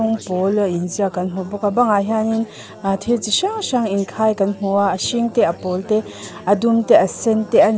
pawla inziak kan hmu bawka banga hianin a thil chi hrang hrang inkhai kan hmua a hring te a pawl te a dum te a sen te an ni a.